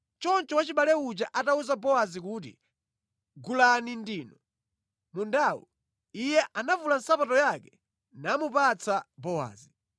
Choncho wachibale uja atawuza Bowazi kuti, “Gulani ndinu mundawu.” Iye anavula nsapato yake namupatsa Bowazi.